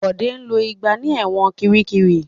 Bọ̀dé lo ìgbà ní ẹ̀wọ̀n Kiríkirì.